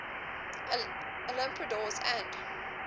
olympiodoros and